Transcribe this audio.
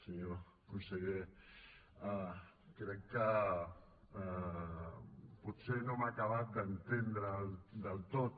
senyor conseller crec que potser no m’ha acabat d’entendre del tot